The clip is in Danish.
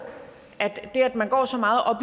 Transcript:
at det at man går så meget op